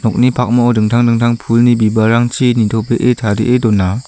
nokni pakmao dingtang dingtang pulni bibalrangchi nitobee tarie dona.